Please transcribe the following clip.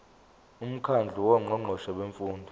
umkhandlu wongqongqoshe bemfundo